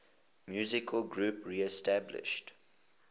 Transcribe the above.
musical groups reestablished